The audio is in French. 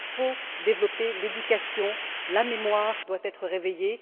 Il faut développer l'éducation, la mémoire doit être réveillée.